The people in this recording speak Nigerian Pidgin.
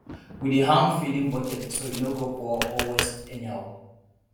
we dey hang feeding bucket so e no go pour or waste anyhow